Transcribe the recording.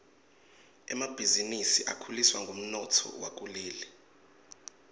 emabhizinisi akhuliswa ngumnotfo wakuleli